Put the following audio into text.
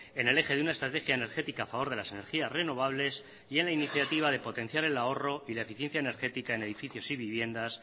en el eje de una estrategia energética a favor de las energías renovables y en la iniciativa de potenciar el ahorro y la eficiencia energética en edificios y viviendas